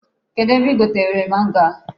Kedụ ebe i gotere mango a?